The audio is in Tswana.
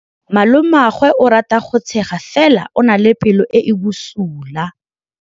Malomagwe o rata go tshega fela o na le pelo e e bosula.